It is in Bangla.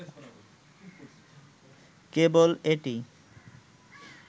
কেবল এটি